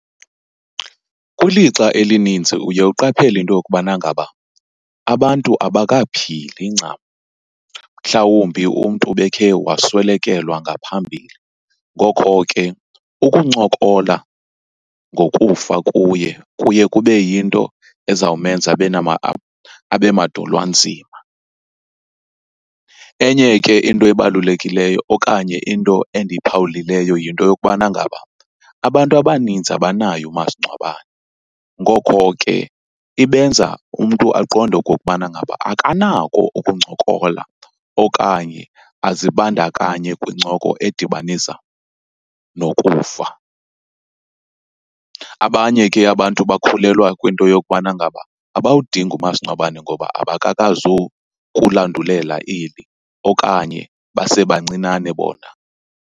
Kwilixa elininzi uye uqaphele into yokubana ngaba abantu abakaphili ncam, mhlawumbi umntu ubekhe waswelekelwa ngaphambili. Ngokho ke ukuncokola ngokufa kuye, kuye kube yinto ezawumenza abe , abe madolwanzima. Enye ke into ebalulekileyo okanye into endiyiphawulileyo yinto yokubana ngaba abantu abaninzi abanaye umasingcwabane, ngokho ke ibenza umntu aqonde okokubana ngaba akanako ukuncokola okanye azibandakanye kwincoko edibanisa nokufa. Abanye ke abantu bakholelwa kwinto yokubana ngaba abawudingi umasingcwabane ngoba abakakazukulandulela eli okanye basebancinane bona.